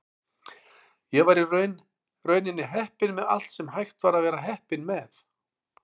Ég var í rauninni heppinn með allt sem hægt var að vera heppinn með.